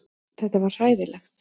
Þetta var hræðilegt.